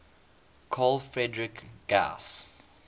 carl friedrich gauss